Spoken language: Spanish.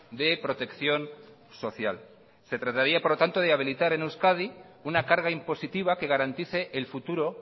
de protección social se trataría por lo tanto de habilitar en euskadi una carga impositiva que garantice el futuro